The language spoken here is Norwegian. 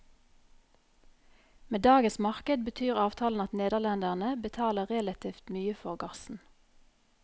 Med dagens marked betyr avtalen at nederlenderne betaler relativt mye for gassen.